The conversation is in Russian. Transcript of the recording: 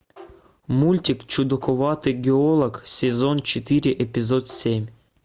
мультик чудаковатый геолог сезон четыре эпизод семь